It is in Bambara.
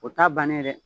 O t'a bannen ye dɛ